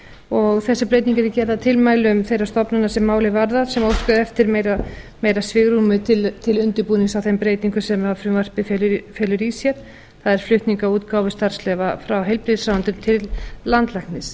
og þessi breyting yrði gerð að tilmælum þeirra stofnana sem málið varðar sem óska eftir meira svigrúmi til undirbúnings á þeim breytingum sem frumvarpið felur í sér það er flutning á útgáfu starfsleyfa frá heilbrigðisráðuneyti til landlæknis